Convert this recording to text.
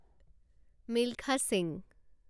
Milkha Singh